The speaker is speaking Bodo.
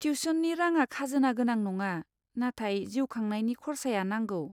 टिउशननि राङा खाजोना गोनां नङा, नाथाय जिउ खांनायनि खरसाया नंगौ।